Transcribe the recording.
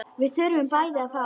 Við þurfum bæði að fá.